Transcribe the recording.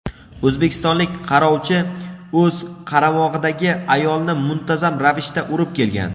o‘zbekistonlik qarovchi o‘z qaramog‘idagi ayolni muntazam ravishda urib kelgan.